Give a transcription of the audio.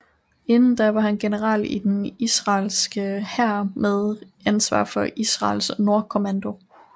Inden da var han general i den israelske hær med ansvar for Israels Nordkommando